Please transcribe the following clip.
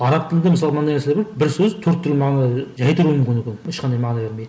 араб тілінде мысалы мынандай нәрселер бар бір сөз төрт түрлі мағына ешқандай мағына бермей